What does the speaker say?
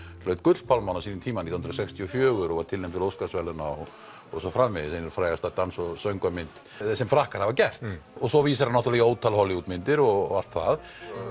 hlaut Gullpálmann á sínum tíma nítján hundruð sextíu og fjögur og var tilnefnd til Óskarsverðlauna og svo framvegis ein frægasta dans og söngva mynd sem Frakkar hafa gert og svo vísar hann í ótal Hollywood myndir og allt það